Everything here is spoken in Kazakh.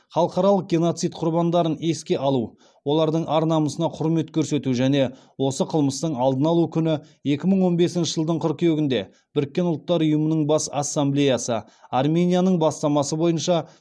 халықаралық геноцид құрбандарын еске алу олардың ар намысына құрмет көрсету және осы қылмыстың алдын алу күні екі мың он бесінші жылдың қыркүйегінде біріккен ұлттар ұйымының бас ассамблеясы арменияның бастамасы бойынша